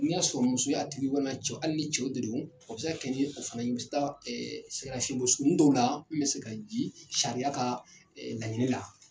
N y'a sɔrɔ muso ya tigiw ye walima cɛw hali ni cɛw de don o bɛ se ka kɛ ni o fana dɔw la min bɛ se ka ji sariya ka laɲini la.